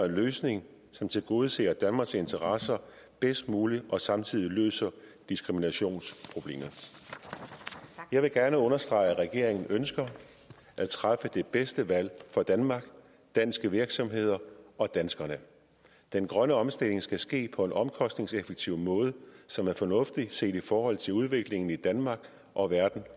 løsning som tilgodeser danmarks interesser bedst muligt og samtidig løser diskriminationsproblemet jeg vil gerne understrege at regeringen ønsker at træffe det bedste valg for danmark danske virksomheder og danskerne den grønne omstilling skal ske på en omkostningseffektiv måde som er fornuftig set i forhold til udviklingen i danmark og verden